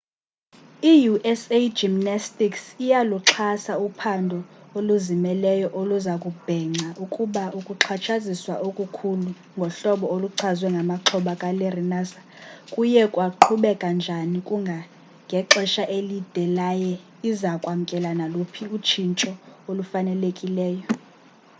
i-usa gymnastics iyaluxhasa uphando oluzimeleyo oluza kubhenca ukuba ukuxhatshazwa okukhulu ngohlobo oluchazwe ngamaxhoba kalarry nassar kuye kwaqhubeka njani kangangexesha elide yaye iza kwamkela naluphi utshintsho olufanelekileyo